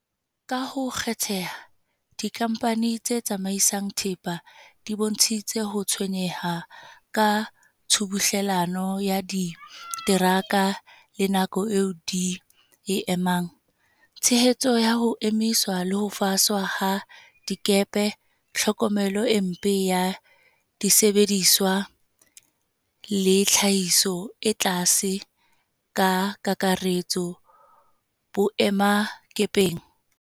Ka ho kgetheha, dikhamphani tse tsamaisang thepa di bontshitse ho tshwenyeha ka tshubuhlellano ya diteraka le nako eo di e emang, tiehiso ya ho emiswa le ho faswa ha dikepe, tlhokomelo e mpe ya disebediswa le tlhahiso e tlase ka kakaretso boemakepeng.